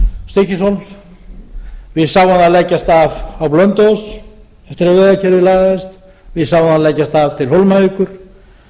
stykkishólms við sáum það leggjast af á blönduós eftir að vegakerfið lagaðist við sáum það leggjast af til hólmavíkur